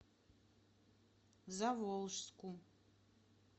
заволжску